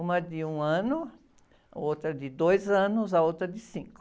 Uma de um ano, outra de dois anos, a outra de cinco.